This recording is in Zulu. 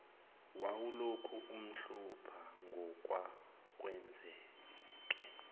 wawulokhu umhlupha ngokwakwenzeke